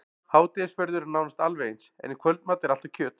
Hádegisverður er nánast alveg eins, en í kvöldmat er alltaf kjöt.